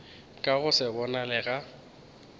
ka go se bonale ga